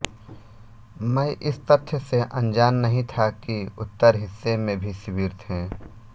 मै इस तथ्य से अनजान नहीं था कि उत्तर हिस्से में भी शिविर थे